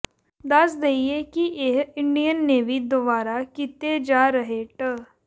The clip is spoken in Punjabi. ਦੱਸ ਦਈਏ ਕਿ ਇਹ ਇੰਡੀਅਨ ਨੇਵੀ ਦੁਆਰਾ ਕੀਤੇ ਜਾ ਰਹੇ ਟ